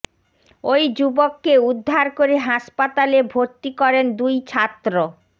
ওই যুবককে উদ্ধার করে হাসপাতালে ভর্তি করেন দুই ছাত্র